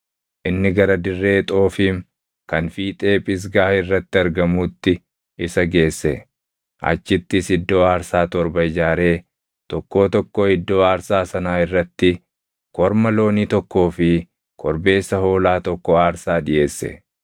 Inni gara dirree Xoofiim kan fiixee Phisgaa irratti argamuutti isa geesse; achittis iddoo aarsaa torba ijaaree tokkoo tokkoo iddoo aarsaa sanaa irratti korma loonii tokkoo fi korbeessa hoolaa tokko aarsaa dhiʼeesse.